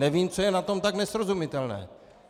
Nevím, co je na tom tak nesrozumitelné.